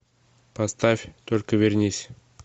поставь только вернись